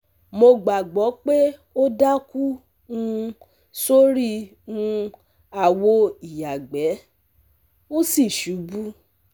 mo gbàgbo pé ó daku um sori um awo iyagbẹ̀, ó sì ṣubú